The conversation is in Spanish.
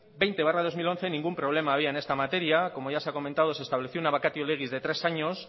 veinte barra dos mil once ningún problema había en esta materia como ya se ha comentado se estableció una vacatio leguis de tres años